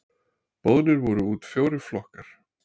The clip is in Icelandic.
Boðnir voru út fjórir flokkar.